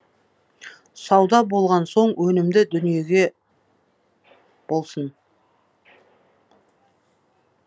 сауда болған соң өнімді дүниеге болсын